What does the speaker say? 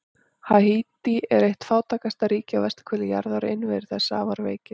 Haítí er eitt fátækasta ríki á vesturhveli jarðar og innviðir þess afar veikir.